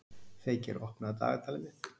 Feykir, opnaðu dagatalið mitt.